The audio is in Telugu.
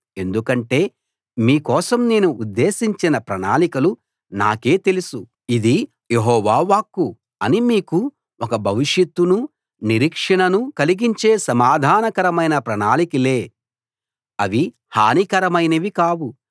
ఎందుకంటే మీ కోసం నేను ఉద్దేశించిన ప్రణాళికలు నాకే తెలుసు ఇది యెహోవా వాక్కు అవి మీకు ఒక భవిష్యత్తునూ నిరీక్షణనూ కలిగించే సమాధానకరమైన ప్రణాళికలే అవి హానికరమైనవి కావు